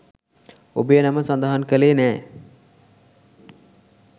ඔබේ නම සඳහන් කළේ නෑ.